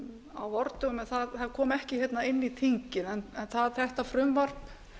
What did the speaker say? á vordögum en það kom ekki inn í þingið en þetta frumvarp